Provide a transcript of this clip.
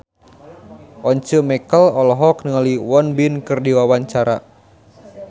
Once Mekel olohok ningali Won Bin keur diwawancara